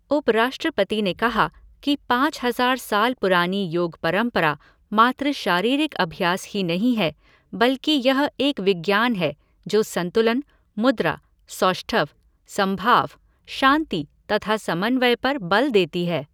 उपराष्ट्रपति ने कहा कि पाँच हजार साल पुरानी योग परम्परा मात्र शारीरिक अभ्यास ही नहीं है बल्कि यह एक विज्ञान है जो संतुलन, मुद्रा, सौष्ठव, समभाव, शांति तथा समन्वय पर बल देती है।